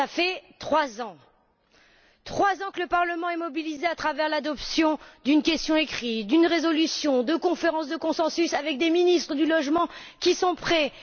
Cela fait trois ans que le Parlement est mobilisé à travers l'adoption d'une question écrite, d'une résolution, de conférences de consensus avec des ministres du logement, qui sont prêts.